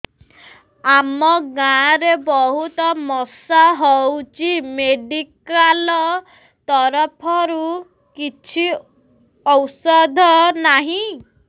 ଆମ ଗାଁ ରେ ବହୁତ ମଶା ହଉଚି ମେଡିକାଲ ତରଫରୁ କିଛି ଔଷଧ ନାହିଁ